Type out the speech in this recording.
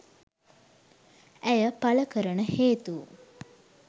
ඇය පළ කරන හේතු